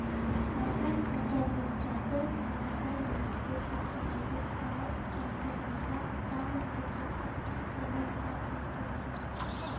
мазақ қылды боқтады тағы да есікті тепкіледік ау тарсылдатпа атамын деді атсаң тегіс ат әйтпесе